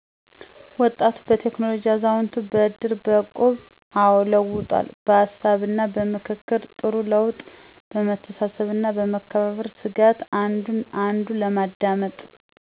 ወጣቱ በቴክኖለጅ አዛውንቱ በእድር በእቁብ አወ ለውጦታል በሀሳብና በምክክር ጥሩ ለውጥ በመተሳሰብና በመመካከር ስጋት አንዱን አንዱ አለማዳመጥ